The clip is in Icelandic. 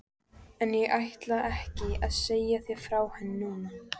En ég ætla ekki að segja þér frá henni núna.